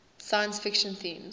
science fiction themes